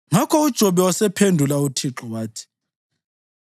Ngakho uJobe wasephendula uThixo wathi: